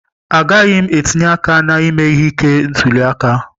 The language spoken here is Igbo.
Agaghị m etinye aka na ime ihe ike ntuli aka.